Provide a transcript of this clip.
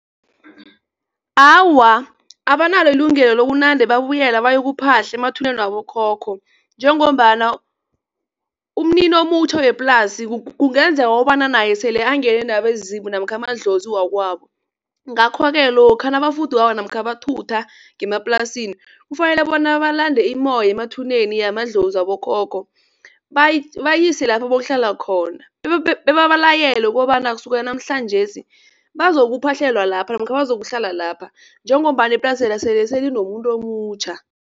Awa, abanalo ilungelo lokunande babuyela bayokuphahla emathuneni wabokhokho njengombana umnini omutjha weplasi kungenzeka ukobana naye sele angene nabezimu namkha amadlozi wakwabo. Ngakho-ke lokha nabafudukako ngemaplasi namkha bathutha ngemaplasini kufanele bona balande immoya emathuneni yamadlozi yabokhokho bayise lapha bayokuhlala khona bebabalayele ukobana kusukela namhlanjesi bazokuphahlelwa lapha namkha bazokuhlala lapha njengombana iplasela sele linomuntu omutjha.